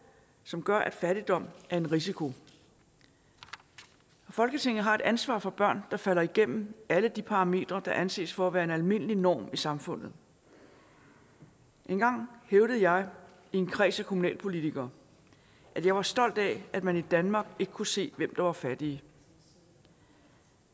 som gør at fattigdom er en risiko folketinget har et ansvar for børn der falder igennem alle de parametre der anses for at være almindelige normer i samfundet engang hævdede jeg i en kreds af kommunalpolitikere at jeg var stolt af at man i danmark ikke kunne se hvem der var fattige